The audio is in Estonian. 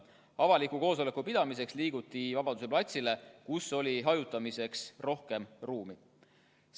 Avaliku koosoleku pidamiseks liiguti Vabaduse platsile, kus oli hajutamiseks rohkem ruumi.